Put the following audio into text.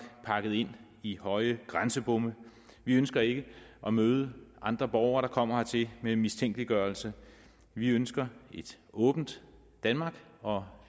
er pakket ind i høje grænsebomme og vi ønsker ikke at møde andre borgere der kommer hertil med mistænkeliggørelse vi ønsker et åbent danmark og